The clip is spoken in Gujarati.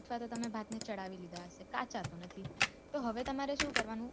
અથવા તો તમે ભાત ને ચડાવી લીધા હશે કાચા તો નથી તો હવે તમારે શું કરવાનું